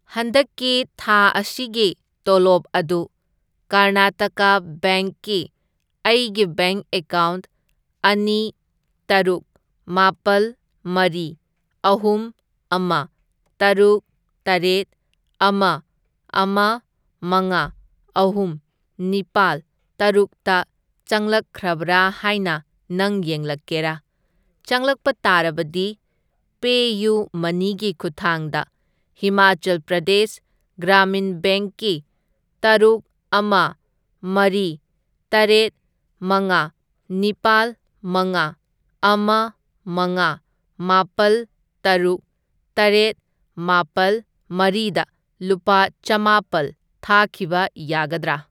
ꯍꯟꯗꯛꯀꯤ ꯊꯥ ꯑꯁꯤꯒꯤ ꯇꯣꯂꯣꯞ ꯑꯗꯨ ꯀꯥꯔꯅꯥꯇꯀꯥ ꯕꯦꯡꯛ ꯀꯤ ꯑꯩꯒꯤ ꯕꯦꯡꯛ ꯑꯦꯀꯥꯎꯟꯠ ꯑꯅꯤ ꯇꯔꯨꯛ, ꯃꯥꯄꯜ, ꯃꯔꯤ, ꯑꯍꯨꯝ, ꯑꯃ, ꯇꯔꯨꯛ, ꯇꯔꯦꯠ, ꯑꯃ, ꯑꯃ, ꯃꯉꯥ, ꯑꯍꯨꯝ, ꯅꯤꯄꯥꯜ, ꯇꯔꯨꯛꯇ ꯆꯪꯂꯛꯈ꯭ꯔꯕ꯭ꯔꯥ ꯍꯥꯏꯅ ꯅꯪ ꯌꯦꯡꯂꯛꯀꯦꯔꯥ? ꯆꯪꯂꯛꯄ ꯇꯥꯔꯕꯗꯤ ꯄꯦꯌꯨꯃꯅꯤ ꯒꯤ ꯈꯨꯠꯊꯥꯡꯗ ꯍꯤꯃꯥꯆꯜ ꯄ꯭ꯔꯗꯦꯁ ꯒ꯭ꯔꯥꯃꯤꯟ ꯕꯦꯡꯛꯀꯤ ꯇꯔꯨꯛ, ꯑꯃ, ꯃꯔꯤ, ꯇꯔꯦꯠ, ꯃꯉꯥ, ꯅꯤꯄꯥꯜ, ꯃꯉꯥ, ꯑꯃ, ꯃꯉꯥ, ꯃꯥꯄꯜ, ꯇꯔꯨꯛ, ꯇꯔꯦꯠ, ꯃꯥꯄꯜ, ꯃꯔꯤꯗ ꯂꯨꯄꯥ ꯆꯥꯝꯃꯥꯄꯜ ꯊꯥꯈꯤꯕ ꯌꯥꯒꯗ꯭ꯔꯥ?